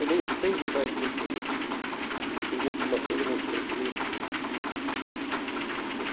Eu leio seis jornais por dia e não, me perguntam uma coisa, eu não sei direito.